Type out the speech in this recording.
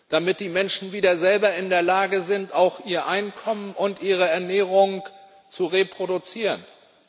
damit die Menschen wieder selber in der Lage sind, für ihr Einkommen und ihre Ernährung zu sorgen.